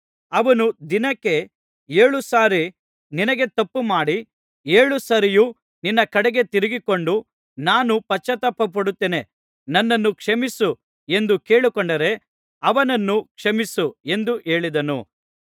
ಅವನು ದಿನಕ್ಕೆ ಏಳು ಸಾರಿ ನಿನಗೆ ತಪ್ಪುಮಾಡಿ ಏಳು ಸಾರಿಯೂ ನಿನ್ನ ಕಡೆಗೆ ತಿರುಗಿಕೊಂಡು ನಾನು ಪಶ್ಚಾತ್ತಾಪಪಡುತ್ತೇನೆ ನನ್ನನ್ನು ಕ್ಷಮಿಸು ಎಂದು ಕೇಳಿಕೊಂಡರೆ ಅವನನ್ನು ಕ್ಷಮಿಸು ಎಂದು ಹೇಳಿದನು